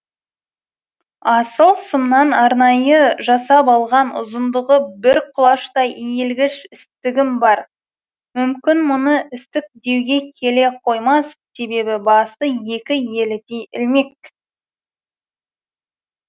асыл сымнан арнайы жасап алған ұзындығы бір құлаштай иілгіш істігім бар мүмкін мұны істік деуге келе қоймас себебі басы екі елідей ілмек